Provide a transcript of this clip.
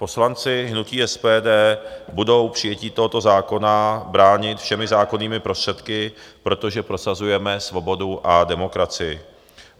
Poslanci hnutí SPD budou přijetí tohoto zákona bránit všemi zákonnými prostředky, protože prosazujeme svobodu a demokracii.